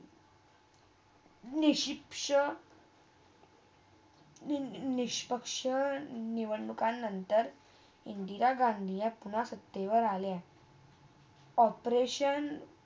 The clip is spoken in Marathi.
निशिक्ष निष्पक्ष निवडणूका नंतर इंदिरा गांधी पुन्हा सत्तेवर आल्या operation